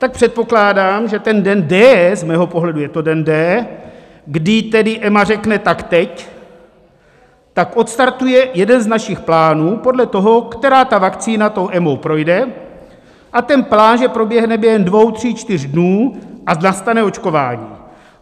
Tak předpokládám, že ten den D, z mého pohledu je to den D, kdy tedy EMA řekne "tak teď", tak odstartuje jeden z našich plánů, podle toho, která ta vakcína tou EMA projde, a ten plán že proběhne během dvou, tří, čtyř dnů a nastane očkování.